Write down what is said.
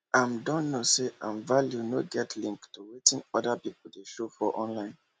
im don know say im value nor get link to wetin orda pipo dey show for online